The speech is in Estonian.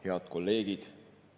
Head kolleegid!